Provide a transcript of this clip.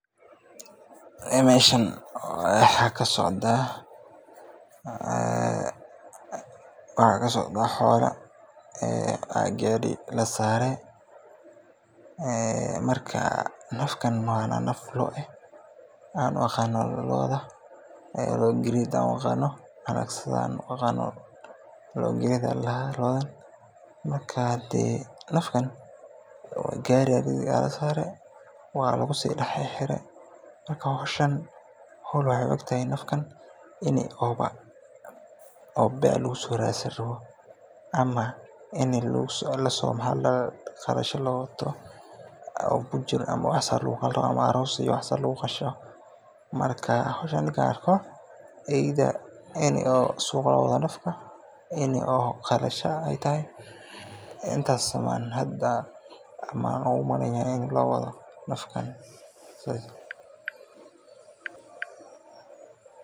Meeshan waxaan kasocdaa xoola ayaa gaari lasaare, marka nafkan waa naf loo, looada gareed ayaa ladahaa, marka nafkan gaari ayaa lasaare, ini beec lagasoo raadsan rabo, ama qalasho loo wato, ama suuq loo wato, intaas lee umaleynaya in loo wado nafkan.